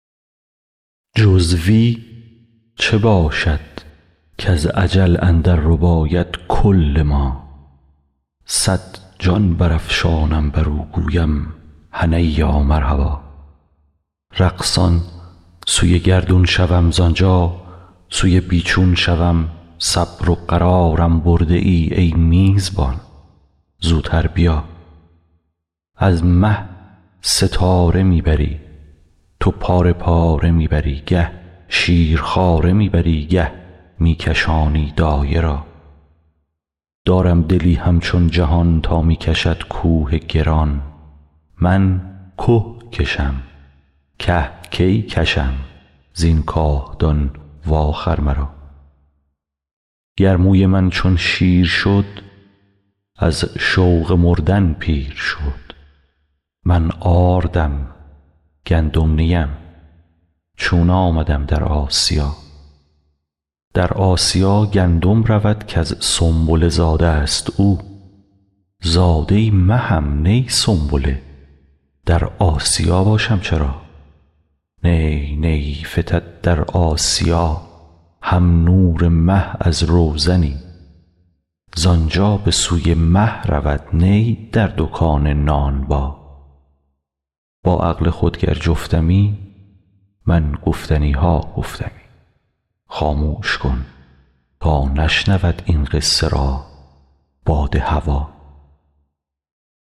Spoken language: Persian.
جز وی چه باشد کز اجل اندر رباید کل ما صد جان برافشانم بر او گویم هنییا مرحبا رقصان سوی گردون شوم زان جا سوی بی چون شوم صبر و قرارم برده ای ای میزبان زوتر بیا از مه ستاره می بری تو پاره پاره می بری گه شیرخواره می بری گه می کشانی دایه را دارم دلی همچون جهان تا می کشد کوه گران من که کشم که کی کشم زین کاهدان واخر مرا گر موی من چون شیر شد از شوق مردن پیر شد من آردم گندم نی ام چون آمدم در آسیا در آسیا گندم رود کز سنبله زاده ست او زاده مهم نی سنبله در آسیا باشم چرا نی نی فتد در آسیا هم نور مه از روزنی زان جا به سوی مه رود نی در دکان نانبا با عقل خود گر جفتمی من گفتنی ها گفتمی خاموش کن تا نشنود این قصه را باد هوا